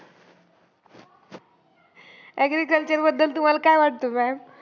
Agriculture बद्दल तुम्हाला काय वाटतं maam?